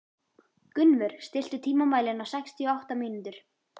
Gunnvör, stilltu tímamælinn á sextíu og átta mínútur.